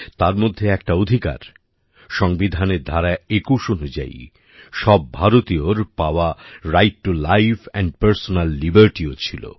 তার মধ্যে একটা অধিকার সংবিধানের ধারা একুশ অনুযায়ী সব ভারতীয়র পাওয়া right to life and personal লিবার্টিও ছিল